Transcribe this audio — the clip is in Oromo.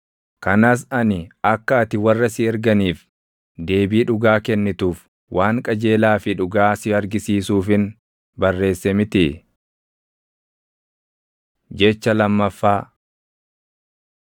Kanas ani akka ati warra si erganiif deebii dhugaa kennituuf waan qajeelaa fi dhugaa si argisiisuufin barreesse mitii? Jecha lammaffaa